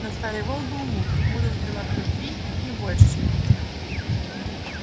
но старый волк был мудр мудр в делах любви не больше чем в битвах